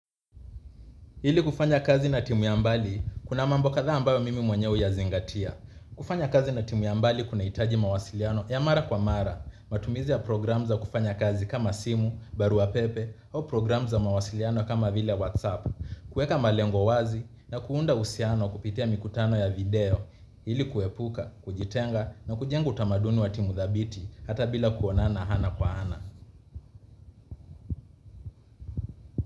Ili kufanya kazi na timu ya mbali, kuna mambo kadhaa ambayo mimi mwenyewe huyazingatia. Kufanya kazi na timu ya mbali, kunahitaji mawasiliano ya mara kwa mara. Matumizi ya program za kufanya kazi kama simu, barua pepe, au program za mawasiliano kama vile whatsapp, kueka malengo wazi, na kuunda uhusiano kupitia mikutano ya video. Ili kuepuka, kujitenga, na kujenga utamaduni wa timu thabiti, hata bila kuonana ana kwa ana.